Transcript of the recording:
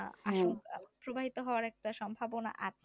প্রবাহিত হওয়ার একটা সম্ভাবনা আছে